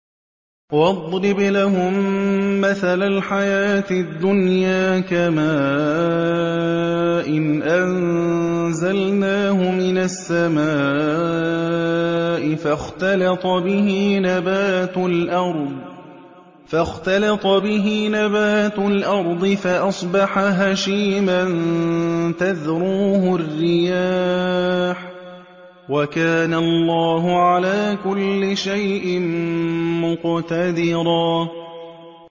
وَاضْرِبْ لَهُم مَّثَلَ الْحَيَاةِ الدُّنْيَا كَمَاءٍ أَنزَلْنَاهُ مِنَ السَّمَاءِ فَاخْتَلَطَ بِهِ نَبَاتُ الْأَرْضِ فَأَصْبَحَ هَشِيمًا تَذْرُوهُ الرِّيَاحُ ۗ وَكَانَ اللَّهُ عَلَىٰ كُلِّ شَيْءٍ مُّقْتَدِرًا